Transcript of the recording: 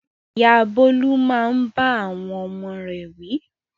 Ìyá Bólú máa ń bá àwọn ọmọ rẹ̀ wí.